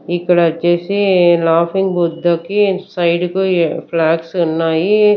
ఇక్కడ వచ్చేసి లాఫింగ్ బుద్ధకి సైడ్ కి ఫ్లాగ్స్ ఉన్నాయి.